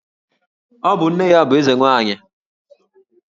Ọ bụ nne ya bụ Eze nwaanyị?